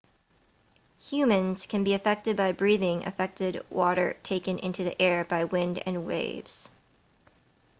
humans can be affected by breathing affected water taken into the air by wind and waves